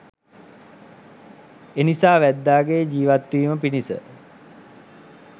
එනිසා වැද්දන්ගේ ජීවත්වීම පිණිස